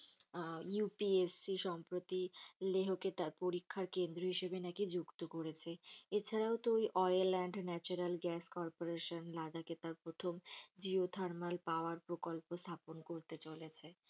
আহ UPSC সম্পর্কে লেহোকে তার পরীক্ষার কেন্দ্র হিসাবে নাকি যুক্ত করেছে। এছাড়াও তো oil and natural gas corporation লাদাখে তার প্রথম জিও থারমাল পাওয়ার প্রকল্প স্থাপন করতে চলেছে।